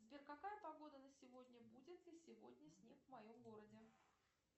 сбер какая погода на сегодня будет ли сегодня снег в моем городе